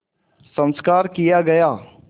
संस्कार किया गया